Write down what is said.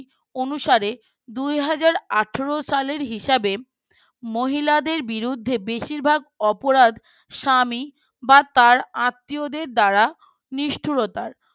অনুসারে দুই হাজার আঠারো সালের হিসাবে মহিলাদের বিরুদ্ধে বেশিরভাগ অপরাধ স্বামী বা তার আত্মীয়দের দ্বারা নিষ্ঠুরতার